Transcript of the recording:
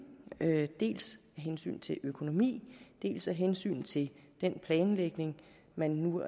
dels af hensyn til økonomi dels af hensyn til den planlægning man nu